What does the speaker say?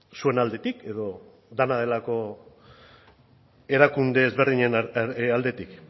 zuen aldetik edo dena delako erakunde ezberdinen aldetik